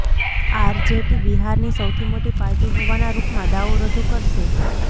RJT બિહારની સૌથી મોટી પાર્ટી હોવાના રૂપમાં દાવો રજૂ કરશે